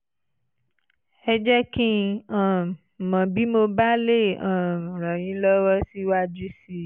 ẹ jẹ́ kí n um mọ̀ bí mo bá lè um ràn yín lọ́wọ́ síwájú sí i